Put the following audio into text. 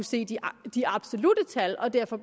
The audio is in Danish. se de absolutte tal og derfor